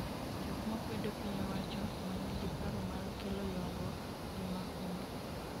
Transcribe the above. jok makwedo piny owacho, ma nigi paro mar kelo ywaruok gi mahundu